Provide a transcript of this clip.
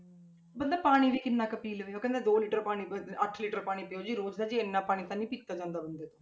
ਬੰਦਾ ਪਾਣੀ ਵੀ ਕਿੰਨਾ ਕੁ ਪੀ ਲਵੇ, ਉਹ ਕਹਿੰਦਾ ਦੋ ਲੀਟਰ ਪਾਣੀ ਪੀਓ ਅੱਠ ਲੀਟਰ ਪਾਣੀ ਪੀਓ ਜੀ, ਰੋਜ਼ ਦਾ ਜੀ ਇੰਨਾ ਪਾਣੀ ਤਾਂ ਨੀ ਪੀਤਾ ਜਾਂਦਾ ਬੰਦੇ ਤੋਂ।